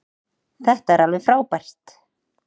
Þetta er alveg frábært.